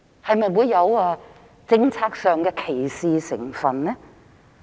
是否有政策歧視成分呢？